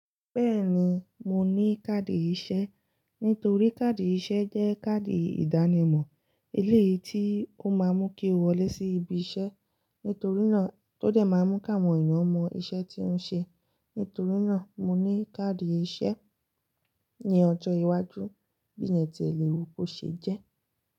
Bẹ́ẹ̀ni, mo ní káàdì ìṣe. Nítorí káàdì ìṣe jẹ́ káàdì ìdánimọ̀. Eléyìí tí ó máa mú kí o wọlé sí ibi iṣẹ́. Nítorí náà tó de máa ń mú kí àwọn èèyàn mọ iṣẹ́ tí ọ́ ń ṣe. Nítorí náà mo ní káàdì iṣẹ́. Ní ọjọ́ iwájú, bí ile tí ẹ lè wu kó ṣe jẹ́